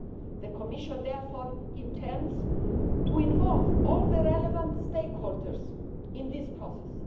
The Commission therefore intends to involve all the relevant stakeholders in this process.